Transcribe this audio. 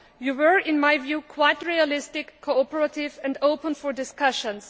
you were, in my view, quite realistic, cooperative and open for discussions.